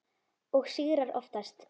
Og sigrar oftast.